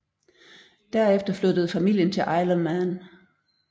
Derefter flyttede familien til Isle of Man